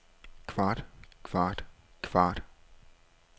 kvart kvart kvart